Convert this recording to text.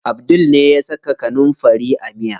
Abdul ne ya saka kanunfari a miya.